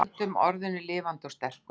Höldum orðinu lifandi og sterku